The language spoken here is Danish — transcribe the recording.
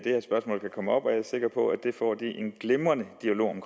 sikker på at de får en glimrende dialog om